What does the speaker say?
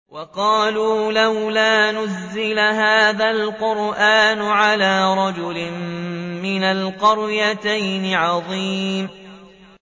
وَقَالُوا لَوْلَا نُزِّلَ هَٰذَا الْقُرْآنُ عَلَىٰ رَجُلٍ مِّنَ الْقَرْيَتَيْنِ عَظِيمٍ